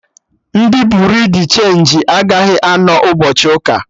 Ndị Buriu di chenji agaghị anọ ụbọchị ụka